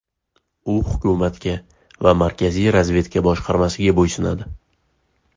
U hukumatga va Markaziy razvedka boshqarmasiga bo‘ysunadi.